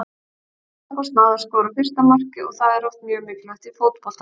Selfoss náði að skora fyrsta markið og það er oft mjög mikilvægt í fótbolta.